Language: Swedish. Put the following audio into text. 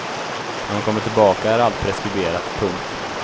När man kommer tillbaka är allt preskriberat. punkt